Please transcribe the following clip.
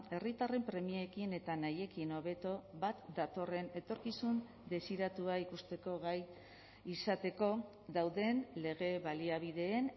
herritarren premiekin eta nahiekin hobeto bat datorren etorkizun desiratua ikusteko gai izateko dauden lege baliabideen